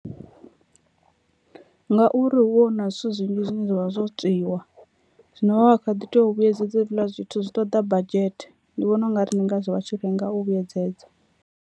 Ngauri hu vha hu na zwithu zwinzhi zwine zwavha zwo tswiwa zwino vha kha ḓi tea u vhuyedzedza hezwiḽa zwithu zwi ṱoḓa budget ndi vhona ungari ndi ngazwo vha tshi lenga u vhuyedzedza.